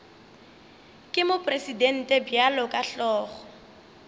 ke mopresidente bjalo ka hlogo